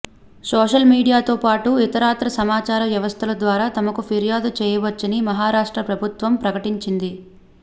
social మీడియాతో పాటు ఇతరత్రా సమాచార వ్యవస్థల ద్వారా తమకు ఫిర్యాదు చేయవచ్చని మహరాష్ట్ర ప్రభుత్వం ప్రకటించింది